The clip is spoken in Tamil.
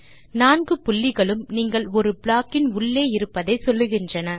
நான்கு புள்ளிகளும் நீங்கள் ஒரு ப்ளாக் இன் உள்ளே இருப்பதை சொல்லுகின்றன